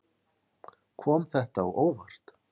Kom þetta á óvart?